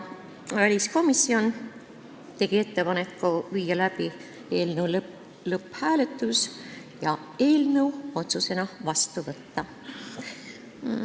Väliskomisjon tegi ettepaneku viia läbi eelnõu lõpphääletus ja eelnõu otsusena vastu võtta.